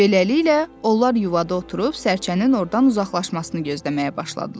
Beləliklə, onlar yuvada oturub sərçənin ordan uzaqlaşmasını gözləməyə başladılar.